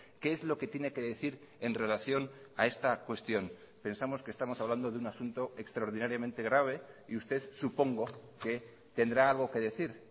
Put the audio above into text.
qué es lo que tiene que decir en relación a esta cuestión pensamos que estamos hablando de un asunto extraordinariamente grave y usted supongo que tendrá algo que decir